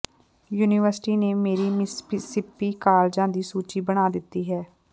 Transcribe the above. university ਨੇ ਮੇਰੀ Mississippi ਕਾਲਜਾਂ ਦੀ ਸੂਚੀ ਬਣਾ ਦਿੱਤੀ ਹੈ